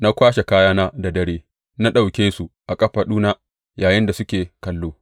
Na kwashe kayana da dare, na ɗauke su a kafaɗuna yayinda suke kallo.